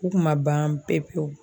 U kun ma ban pewu pewu.